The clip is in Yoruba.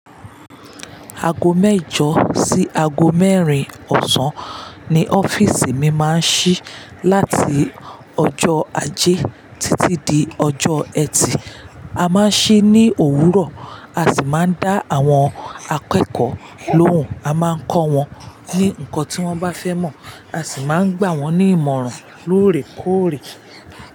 Aago mẹ́jọ sí aago mẹ́rin ọ̀sán ni ọ́fíìsì mi máa ń ṣí láti ọjọ́ ajé títí di ọjọ́ ẹtì. A máa ń ṣí ní òwúrọ̀, a sì máa ń dá àwọn akẹ́kọ̀ọ́ lóhùn. A máa ń kọ́ wọn ní nǹkan tí wọ́n bá fẹ́ mọ̀, a sì máa ń gbà wọ́n ní ìmọ̀ràn lóòrèkóòrè.